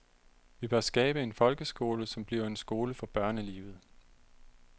Vi bør skabe en folkeskole som bliver en skole for børnelivet.